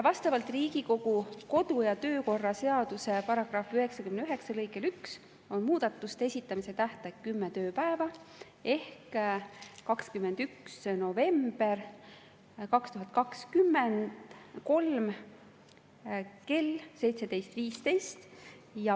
Vastavalt Riigikogu kodu- ja töökorra seaduse § 99 lõikele 1 on muudatuste esitamise tähtaeg kümme tööpäeva ehk tähtaeg on 21. november 2023 kell 17.15.